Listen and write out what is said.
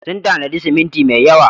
Sun tanadi siminti mai yawa.